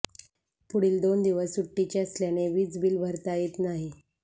पुढील दोन दिवस सुटीचे असल्याने वीजबिल भरता येत नाही